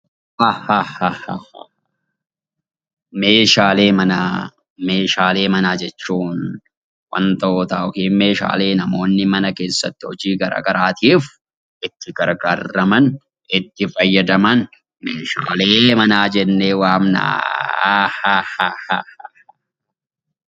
A hahaha haha Meeshaalee manaa Meeshaalee manaa jechuun wantoota (meeshaalee) namoonni mana keessatti hojii garaagaraatiif itti gargaaraman, itti fayyadaman, meeshaalee manaa jennee waamna ahahahaha.